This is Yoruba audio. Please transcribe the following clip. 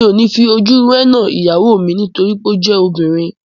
Èmi ò ní fi ojú rénà ìyàwó mi nítorí pé ó jẹ́ obìnrin